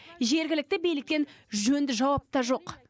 жергілікті биліктен жөнді жауап та жоқ